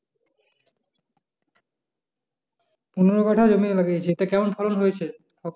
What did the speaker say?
পনোরো কাটা জমি লাগিয়েছিস, তো কেমন ফলন হয়েছে?